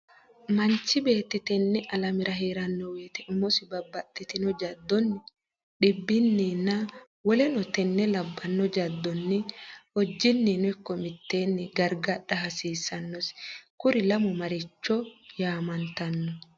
Manchu beetti tenne alamera hee’ranno wote umosi babbaxxitno jaddonni, dhibbinninna woleno tenne labbanno jaddonni hojjinnino ikko mitteenni gargadha hasiissannosi, Kuri lamu maricho yaamantanno?